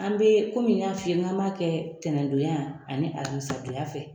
An be n ya f'i ye , k'an b'a kɛ ntɛnɛn don ya ani alamisa don ya fɛ.